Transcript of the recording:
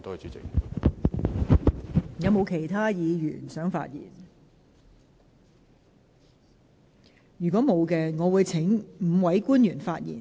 如果沒有議員想發言，我會請5位官員發言。